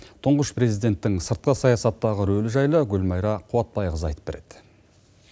тұңғыш президенттің сыртқы саясаттағы рөлі жайлы гүлмайра қуатбайқызы айтып береді